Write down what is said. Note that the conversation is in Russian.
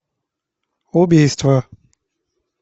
убийство